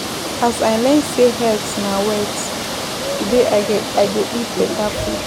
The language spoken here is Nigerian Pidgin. As I learn sey health na wealth, today I go eat beta food.